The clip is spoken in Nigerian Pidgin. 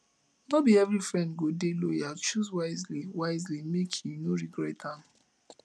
no be every friend go dey loyal choose wisely wisely make you no regret am